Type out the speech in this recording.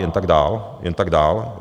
Jen tak dál, jen tak dál.